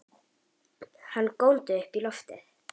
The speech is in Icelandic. Hann góndi upp í loftið!